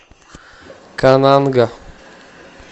кананга